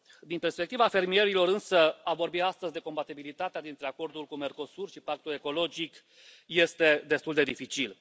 Din perspectiva fermierilor, însă, a vorbi astăzi de compatibilitatea dintre Acordul cu Mercosur și Pactul ecologic este destul de dificil.